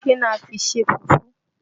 Kí ni a fi n ṣe fùfú?